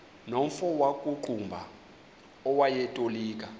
nomfo wakuqumbu owayetolika